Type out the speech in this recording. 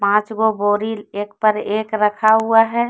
पांचगो बोरी एक पर एक रखा हुआ है।